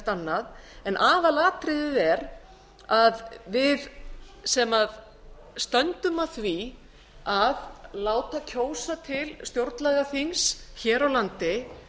annað en aðalatriðið er að við sem stöndum að því að láta kjósa til stjórnlagaþings hér á landi